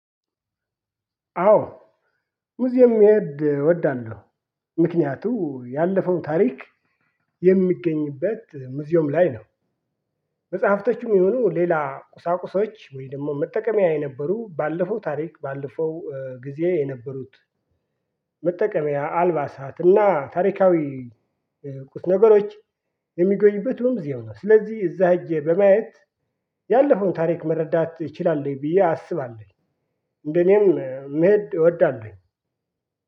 አዎ ሙዚየም ይወድ እወዳለሁ ምክንያቱ ያለፈው ታሪክ የሚገኝበት ሙዚየም ላይ ነው። መጽሐፍቶችም ይሁኑ ሌላ ቁሳቁሶች ወይም ደግሞ መጠቀሚያ የነበሩ ባለፈው ታሪክ ባለፈው ጊዜ የነበሩት መጠቀሚያ አልባሳት እና ታሪካዊ ነገሮች የሚገኝበት እዛው ነው። ስለዚህ እዛ ሄጄ በማየት ያለፈውን ታሪክ መረዳት እችላለሁ ብዬ አስባለሁ። እንደኔም መሄድ እወዳለሁኝ።